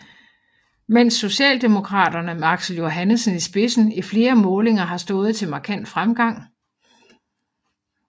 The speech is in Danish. Mens Socialdemokraterne med Aksel Johannesen i spidsen i flere målinger har stået til markant fremgang